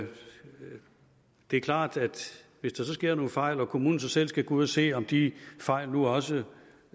det er klart at hvis der så sker nogle fejl og kommunen selv skal ud at se om de fejl nu også